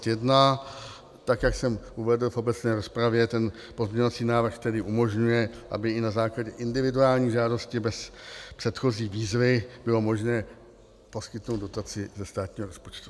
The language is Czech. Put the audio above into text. Tak jak jsem uvedl v obecné rozpravě, ten pozměňovací návrh tedy umožňuje, aby i na základě individuální žádosti bez předchozí výzvy bylo možné poskytnout dotaci ze státního rozpočtu.